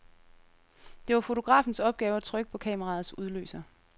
Det var fotografens opgave at trykke på kameraets udløser.